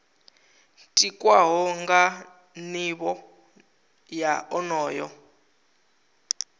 tikwaho nga nivho ya onoyo